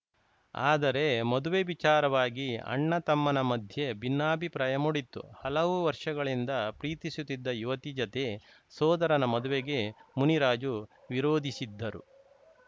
ಆದರೆ ಮದುವೆ ವಿಚಾರವಾಗಿ ಅಣ್ಣತಮ್ಮನ ಮಧ್ಯೆ ಭಿನ್ನಾಭಿಪ್ರಾಯ ಮೂಡಿತ್ತು ಹಲವು ವರ್ಷಗಳಿಂದ ಪ್ರೀತಿಸುತ್ತಿದ್ದ ಯುವತಿ ಜತೆ ಸೋದರನ ಮದುವೆಗೆ ಮುನಿರಾಜು ವಿರೋಧಿಸಿದ್ದರು